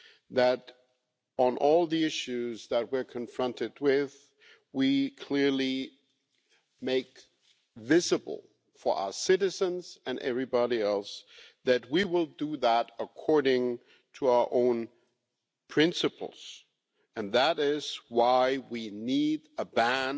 that on all the issues that we are confronted with we clearly make visible to our citizens and everybody else that we will do that according to our own principles, and that is why we need a ban